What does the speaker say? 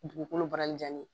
Dugukolo bara jaani